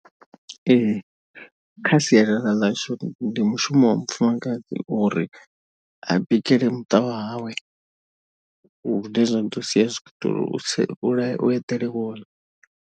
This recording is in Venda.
Ee kha sialala ḽashu ndi mushumo wa mufumakadzi uri a bikele muṱa wa hawe. Hune zwa ḓo sia zwi khou itela u eḓele vhoḽa.